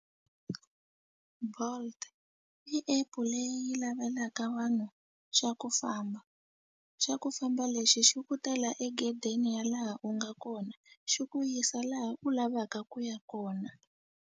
Bolt i app-u leyi yi lavelaka vanhu xa ku famba xa ku famba lexi xi ku tela egedeni ya laha u nga kona xi ku yisa laha u lavaka ku ya kona.